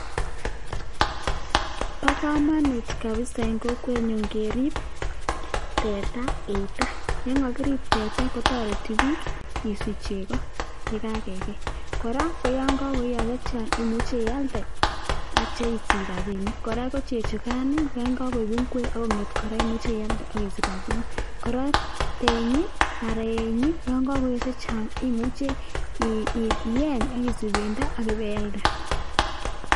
Bokomonut kabisaa en kokwenyun keriib teta eitoo, yoon kokirib teta kotoreti biik isich cheko yekakekei, kora ko yoon kokoiyon chechang imuche ialde akityo isich rabinik, kora ko chechukan yon kokoib ak kong'et kora imuche ialde ak isich rabinik, kora tenyi anan eeii Yoon kokoi chechang imuche iyeeny ak isich bendo ak ibeialde.